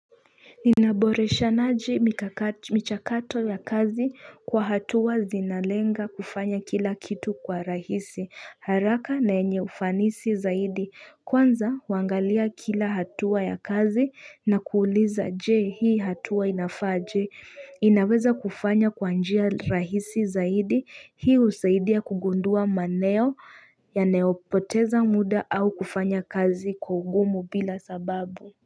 Ninaboreshanaje michakato ya kazi kwa hatua zinalenga kufanya kila kitu kuwa rahisi, haraka na yenye ufanisi zaidi. Kwanza waangalia kila hatua ya kazi na kuuliza je hii hatua inafaa aje? Inaweza kufanya kwa njia rahisi zaidi, hii usaidia kugundua maeneo yanayopoteza muda au kufanya kazi kwa ugumu bila sababu.